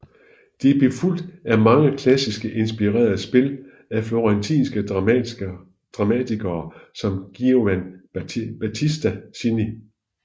Det blev fulgt af mange klassisk inspirerede spil af florentinske dramatikere som Giovan Battista Cini